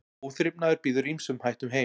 Óþrifnaður býður ýmsum hættum heim.